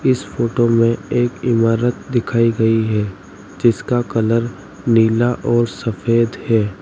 इस फोटो में एक इमारत दिखाई गई है जिसका कलर नीला और सफेद है।